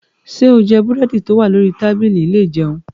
Ṣé o jẹ búrẹ́dì tó wà lórí tábìlì ilé ìjẹun?